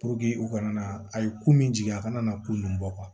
u kana na a ye ko min jigin a kana na ko nunnu bɔ